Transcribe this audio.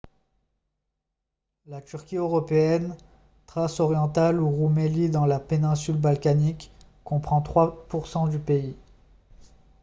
la turquie européenne thrace orientale ou roumélie dans la péninsule balkanique comprend 3 % du pays